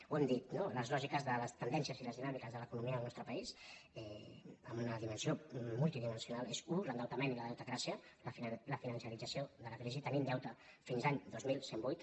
ho hem dit no les lògi·ques de les tendències i les dinàmiques de l’economia del nostre país amb una dimensió multidimensional són u l’endeutament i la deutecràcia la financerit·zació de la crisi tenim deute fins a l’any dos mil cent i vuit